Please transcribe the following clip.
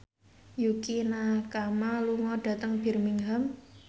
Yukie Nakama lunga dhateng Birmingham